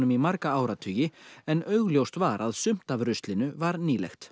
í marga áratugi en augljóst var að sumt af ruslinu var nýlegt